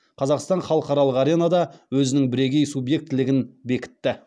қазақстан халықаралық аренада өзінің бірегей субъектілігін бекітті